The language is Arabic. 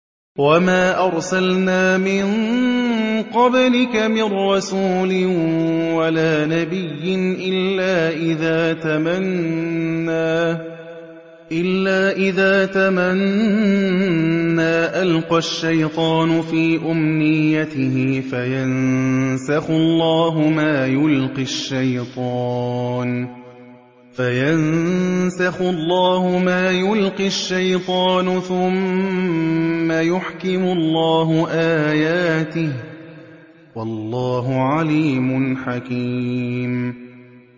وَمَا أَرْسَلْنَا مِن قَبْلِكَ مِن رَّسُولٍ وَلَا نَبِيٍّ إِلَّا إِذَا تَمَنَّىٰ أَلْقَى الشَّيْطَانُ فِي أُمْنِيَّتِهِ فَيَنسَخُ اللَّهُ مَا يُلْقِي الشَّيْطَانُ ثُمَّ يُحْكِمُ اللَّهُ آيَاتِهِ ۗ وَاللَّهُ عَلِيمٌ حَكِيمٌ